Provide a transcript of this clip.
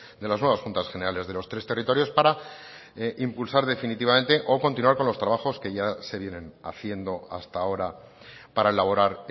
de las nuevas juntas generales de los tres territorios para impulsar definitivamente o continuar con los trabajos que ya se vienen haciendo hasta ahora para elaborar